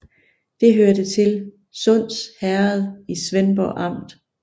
Det hørte til Sunds Herred i Svendborg Amt